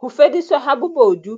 Ho fediswa ha bobo du